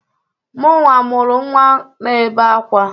Mụnwa mụrụ nnwa na-ebe akwa.